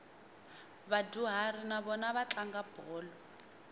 vadyuhari na vona va tlanga bolo